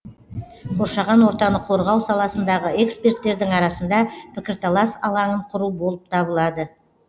қоршаған ортаны қорғау саласындағы эксперттердің арасында пікірталас алаңын құру болып табылады